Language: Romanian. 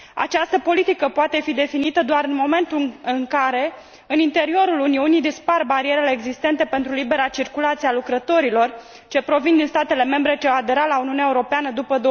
Această politică poate fi definită doar în momentul în care, în interiorul Uniunii, dispar barierele existente pentru libera circulație a lucrătorilor ce provin din statele membre ce au aderat la Uniunea Europeană după